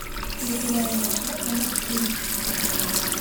территориальный отдел номер четырнадцать